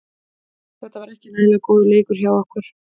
Þetta var ekki nægilega góður leikur hjá okkur.